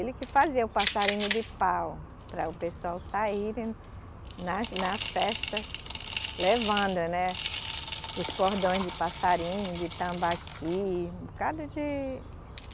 Ele que fazia o passarinho de pau para o pessoal saírem nas, na festa, levando, né os cordões de passarinho, de tambaqui, um bocado de